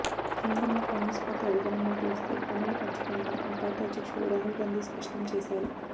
కేంద్రంలో కాంగ్రెస్ పార్టీ అధికారంలోకి వస్తే పన్నులు పెంచబోమని ఆ పార్టీ అధ్యక్షుడు రాహుల్ గాంధీ స్పష్టంచేశారు